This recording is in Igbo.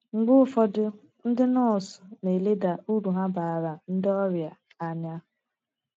Mgbe ụfọdụ, ndị nọọsụ na - eleda uru ha baara ndị ọria anya.